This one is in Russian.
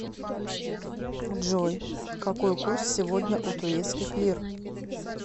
джой какой курс сегодня у турецких лир